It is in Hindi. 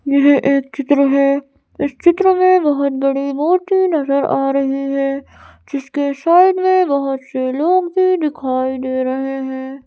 यह एक चित्र है इस चित्र में बोहोत बड़ी नजर आ रही है जिसके साइड में बोहोत से लोग भी दिखाए दे रहे हैं।